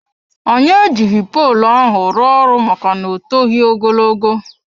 Anyị ejighị poolụ ahụ rụọ ọrụ maka na ọ toghi ogologo.